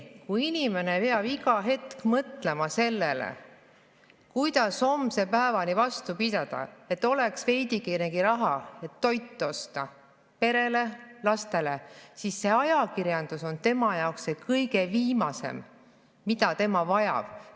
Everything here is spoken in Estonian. Kui inimene peab iga hetk mõtlema sellele, kuidas homse päevani vastu pidada, et oleks veidikenegi raha, et osta toitu perele, lastele, siis on ajakirjandus tema jaoks viimane, mida ta vajab.